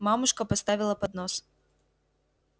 мамушка поставила поднос